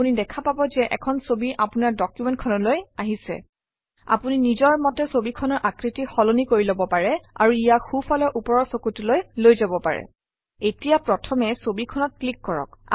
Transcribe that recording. আপুনি দেখা পাব যে এখন ছবি আপোনাৰ ডকুমেণ্ট খনলৈ আহিছে আপুনি নিজৰ মতে ছবিখনৰ আকৃতি সলনি কৰি লব পাৰে আৰু ইয়াক সোঁফালৰ ওপৰৰ চুকটোলৈ লৈ যাব পাৰে এতিয়া প্ৰথমে ছবিখনত ক্লিক কৰক